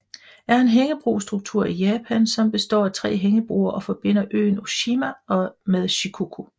er en hængebro struktur i Japan som består af tre hængebroer og forbinder øen Oshima med Shikoku